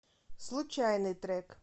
случайный трек